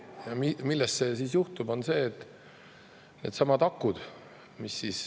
Millest see siis johtub?